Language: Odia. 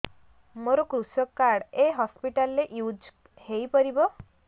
ମୋର କୃଷକ କାର୍ଡ ଏ ହସପିଟାଲ ରେ ୟୁଜ଼ ହୋଇପାରିବ